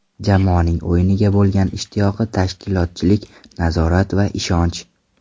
Jamoaning o‘yinga bo‘lgan ishtiyoqi, tashkilotchilik, nazorat va ishonch.